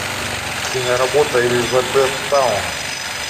киноработа элизабеттаун